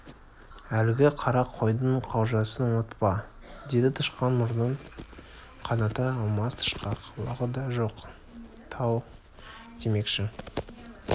әлгі қара қойдың қалжасын ұмытпа деді тышқан мұрнын қаната алмас тышқақ лағы да жоқ тау демекші